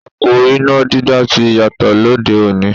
Ipò iná dídá ti yàtọ̀ lóde òní.